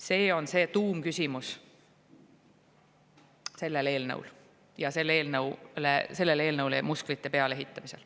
See on selle eelnõu tuumküsimus ja sellele eelnõule musklite peale ehitamisel.